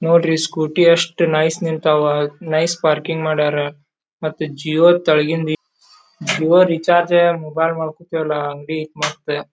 ನೋಡ್ರಿ ಸ್ಕೂಟಿ ಎಷ್ಟು ನೈಸ್ ನಿಂತ್ತವಾ ನೈಸ್ ಪಾರ್ಕಿಂಗ್ ಮಾಡ್ಯರ ಮತ್ತ ಜಿಯೋ ತಾಳಗಿಂದು ಜಿಯೋ ರೀಚಾರ್ಜ್ ಮೊಬೈಲ್ ಮಾಡ್ಕೊಳ್ತಿವಿ ಅಲ ಅಂಗಡಿ ಐತ್ತಿ ಮಸ್ತ್.